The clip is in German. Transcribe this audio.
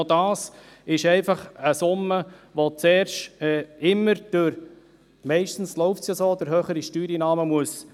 Aber das ist noch einfach eine Summe, die zuerst immer durch höhere Steuereinnahmen hereingeholt werden muss.